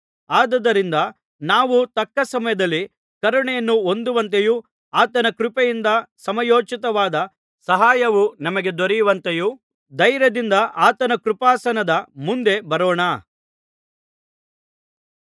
ಆದುದರಿಂದ ನಾವು ತಕ್ಕ ಸಮಯದಲ್ಲಿ ಕರುಣೆಯನ್ನು ಹೊಂದುವಂತೆಯೂ ಆತನ ಕೃಪೆಯಿಂದ ಸಮಯೋಚಿತವಾದ ಸಹಾಯವು ನಮಗೆ ದೊರೆಯುವಂತೆಯೂ ಧೈರ್ಯದಿಂದ ಆತನ ಕೃಪಾಸನದ ಮುಂದೆ ಬರೋಣ